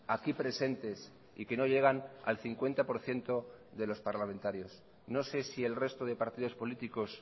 aquí presentes y que no llegan al cincuenta por ciento de los parlamentarios no sé si el resto de partidos políticos